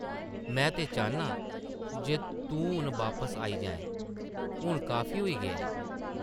में ते चाह्न्नां जे तूं हून बापस आई जाऐं, हून काफी होई गेआ ऐ।